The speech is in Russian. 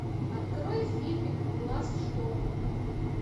открой фильмик глаз шторма